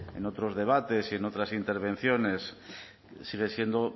en otros debates y en otras intervenciones sigue siendo